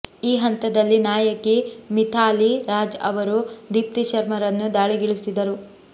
ಈ ಹಂತದಲ್ಲಿ ನಾಯಕಿ ಮಿಥಾಲಿ ರಾಜ್ ಅವರು ದೀಪ್ತಿ ಶರ್ಮರನ್ನು ದಾಳಿಗಿಳಿಸಿದರು